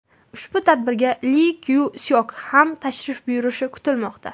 Ushbu tadbirga Li Kyu Syok ham tashrif buyurishi kutilmoqda.